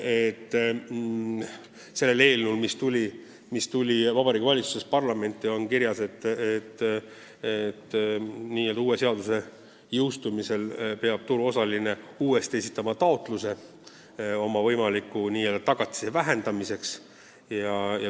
Eelnõus, mis Vabariigi Valitsusest parlamenti jõudis, on kirjas, et nn uue seaduse jõustumisel peab turuosaline uuesti esitama taotluse oma võimaliku tagatise vähendamiseks.